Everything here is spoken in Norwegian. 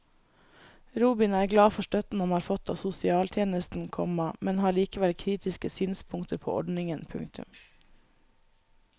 Robin er glad for støtten han har fått av sosialtjenesten, komma men har likevel kritiske synspunkter på ordningen. punktum